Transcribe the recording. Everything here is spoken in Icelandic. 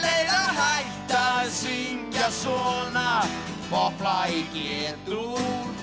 að hætta að syngja svona popplag í g dúr